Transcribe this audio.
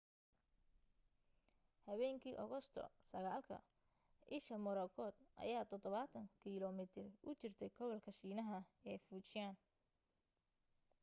habeenkii agosto 9ka isha morakot ayaa 70 kilomiitar u jirtay gobolka shiinaha ee fujian